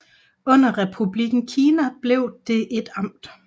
Under Republikken Kina blev det et amt